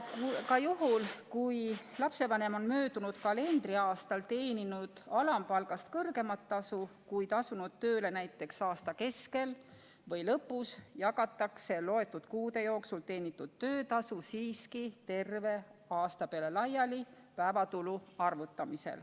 Ka juhul, kui lapsevanem on möödunud kalendriaastal teeninud alampalgast kõrgemat tasu, kuid asunud tööle näiteks aasta keskel või lõpus, jagatakse loetud kuude jooksul teenitud töötasu päevatulu arvutamisel siiski terve aasta peale laiali.